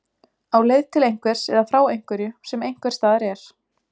Á leið til einhvers eða frá einhverju sem einhvers staðar er.